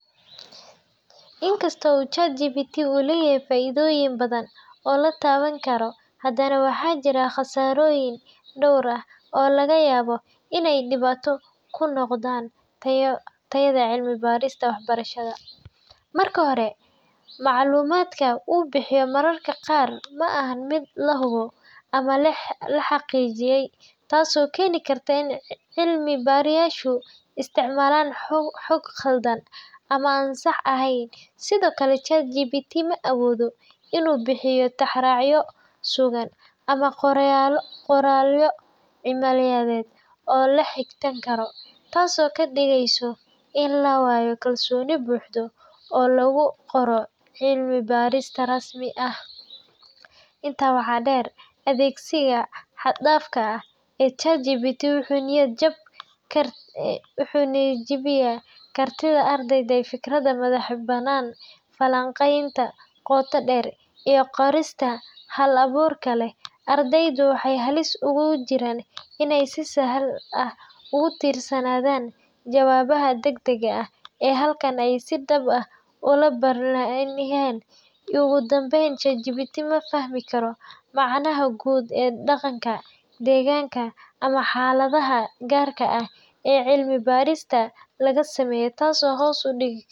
Inkasta oo ChatGPT uu leeyahay faa’iidooyin badan oo la taaban karo, haddana waxaa jira khasaarooyin dhowr ah oo laga yaabo inay dhibaato ku noqdaan tayada cilmi-baarista waxbarashada. Marka hore, macluumaadka uu bixiyo mararka qaar ma aha mid la hubo ama la xaqiijiyay, taasoo keeni karta in cilmi-baarayaashu isticmaalaan xog khaldan ama aan sax ahayn. Sidoo kale, ChatGPT ma awoodo inuu bixiyo tixraacyo sugan ama qoraallo cilmiyeed oo la xigto karo, taasoo ka dhigeysa in la waayo kalsooni buuxda oo lagu qoro cilmi-baaris rasmi ah. Intaa waxaa dheer, adeegsiga xad-dhaafka ah ee ChatGPT wuxuu niyad-jabiyaa kartida ardayda ee fikirka madax-bannaan, falanqaynta qoto-dheer, iyo qorista hal-abuurka leh. Ardaydu waxay halis ugu jiraan inay si sahal ah ugu tiirsanaadaan jawaabaha degdega ah halkii ay si dhab ah u baarilahaayeen. Ugu dambayn, ChatGPT ma fahmi karo macnaha guud ee dhaqanka, deegaanka, ama xaaladaha gaarka ah ee cilmi-baaris laga sameynayo, taasoo hoos u dhigi.